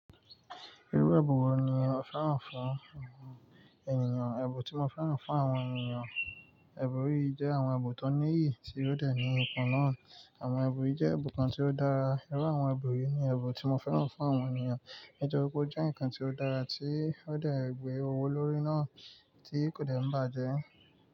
Irú ẹbùn wo ni o féràn fún ènìyàn? Ẹbùn tí mo féràn fún àwọn ènìyàn, ẹbùn yii jẹ́ àwọn ẹbùn tó níyì tí ó dẹ̀ ní ipan náà. Àwọn ẹbùn yií jẹ́ ẹ̀bùn kan tí ó dára. Irú àwọn ẹbùn yìí ni ẹbùn tí mo féràn fún àwọn ènìyàn. Nítorí pé ó jẹ́ ǹkan tí ó dára tí ó dẹ̀ gbé owó lórí náà tí kò dẹ̀ ń bàjẹ́